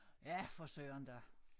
Ja for Søren da